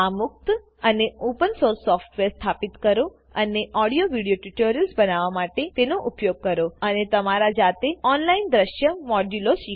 આ મુક્ત અને ઓપન સોર્સ સોફ્ટવેર સ્થાપિત કરો અને ઓડિયો વિડિઓ ટ્યુટોરિયલ્સ બનાવવા માટે તેનો ઉપયોગ કરો અને તમારા જાતે ઑનલાઇન દ્રશ્ય મોડ્યુલો શીખો